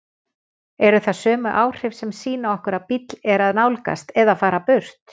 Eru það sömu áhrif sem sýna okkur að bíll er að nálgast eða fara burt?